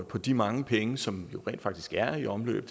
på de mange penge som jo rent faktisk er i omløb